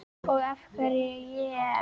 Og af hverju ég?